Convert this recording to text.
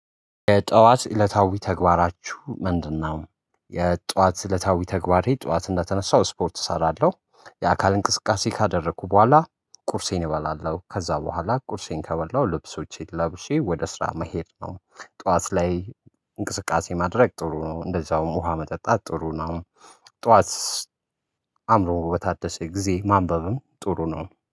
የጠዋት እለታዊ ተግባራቹ ምንድነው? የጠዋት እለታዊ ተግባሬ ጠዋት እንደተነሳው ስፖርት እሰራለሁ። የአካል እንቅስቃሴ ካደረኩ በኋላ ቁርሴን እበላለው ከዛ በኋላ ቁርሴን ከበላው ልብሶቼን ለብሼ ወደ ስራ መሄድ ነው። ጠዋት ላይ እንቅስቃሴ ማድረግ ጥሩ ነው እንደዛውም ውሃ መጠጣት ጥሩ ነው። ጠዋት አእምሮ በታደሰ ጊዜ ማንበብም ጥሩ ነው